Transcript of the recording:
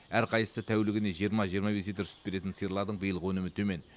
әр қайсысы тәулігіне жиырма жиырма бес литр сүт беретін сиырлардың биылғы өнімі төмен